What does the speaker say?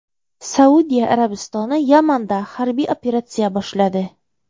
Saudiya Arabistoni Yamanda harbiy operatsiya boshladi.